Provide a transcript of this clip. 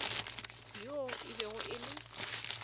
yoo e bego e le